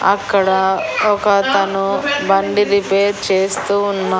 అక్కడ ఒక అతను బండి రిపేర్ చేస్తూ ఉన్నా--